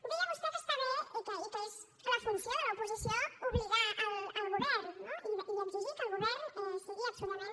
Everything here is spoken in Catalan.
deia vostè que està bé i que és la funció de l’oposició obligar el govern no i exigir que el govern sigui absolutament